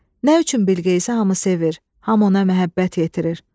Nə üçün Bilqeyisi hamı sevir, hamı ona məhəbbət yetirir.